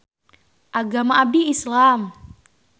Agama abdi Islam.